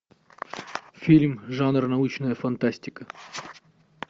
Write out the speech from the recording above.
фильм жанр научная фантастика